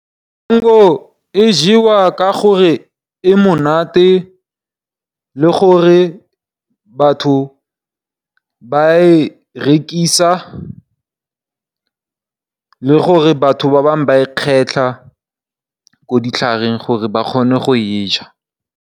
Maungo a jewa ka gore a monate, le gore batho ba a rekisa le gore batho ba bangwe ba a kgetlha ko ditlhareng gore ba kgone go a ja.